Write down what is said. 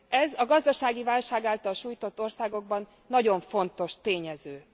Ez a gazdasági válság által sújtott országokban nagyon fontos tényező.